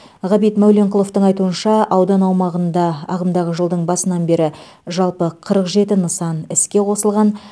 ғабит мәуленқұловтың айтуынша аудан аумағында ағымдағы жылдың басынан бері жалпы қырық жеті нысан іске қосылған